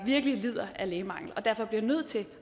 virkelig lider af lægemangel og derfor bliver nødt til